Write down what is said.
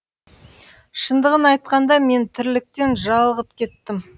шындығын айтқанда мен тірліктен жалығып кеттім